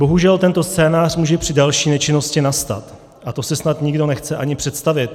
Bohužel tento scénář může při další nečinnosti nastat a to si snad nikdo nechce ani představit.